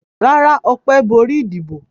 Rárá, Ọpẹ́ borí ìdìbò.